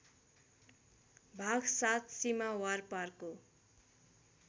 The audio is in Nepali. भाग ७ सीमा वारपारको